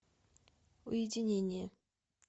уединение